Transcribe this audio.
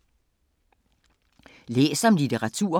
Læs om litteratur